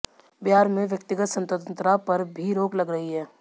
बिहार में व्यक्तिगत स्वतंत्रता पर भी रोक लग रही है